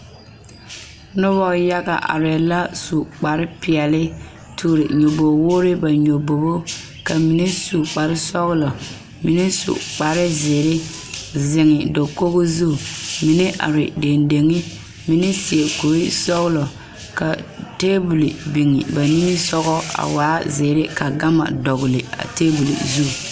Noba yaga arɛɛ la su kpar peɛle toore nyɔboo woore na nyɔbogo ka mine su kpar sɔgelɔ mine su kpar zeere zeŋ dakoo su mine are dendeŋe mine seɛ kuri sɔgelɔ ka taabol biŋ ba nimisoga a taa zeere ka gama dɔgele a taabol zu